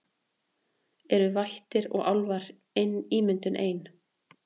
Eru vættir og álfar ímyndun ein